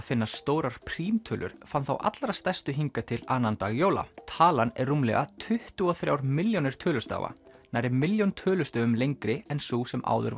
finna stórar prímtölur fann þá allra stærstu hingað til annan dag jóla talan er rúmlega tuttugu og þrjár milljónir tölustafa nærri milljón tölustöfum lengri en sú sem áður